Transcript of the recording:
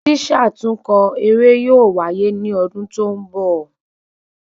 Sísàtúnkọ eré yóò waye ni ọdún tó ń bọ̀